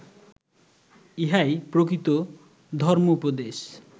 ইহাই প্রকৃত ধর্ম্মোপদেশ